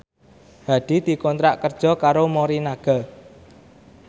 Hadi dikontrak kerja karo Morinaga